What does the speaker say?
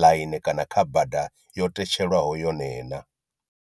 ḽaini kana kha bada yo tetshelwaho yone na.